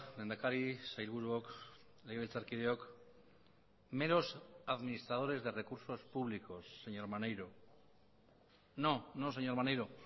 lehendakari sailburuok legebiltzarkideok meros administradores de recursos públicos señor maneiro no no señor maneiro